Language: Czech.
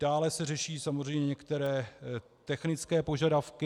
Dále se řeší samozřejmě některé technické požadavky.